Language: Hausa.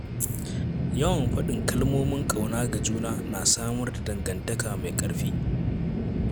Yawan faɗin kalmomin ƙauna ga juna na samar da dangantaka mai ƙarfi.